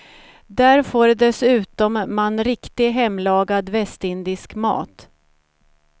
Där får dessutom man riktig, hemlagad västindisk mat.